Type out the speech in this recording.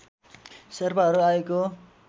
शेर्पाहरू आएको